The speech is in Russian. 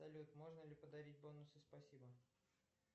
салют можно ли подарить бонусы спасибо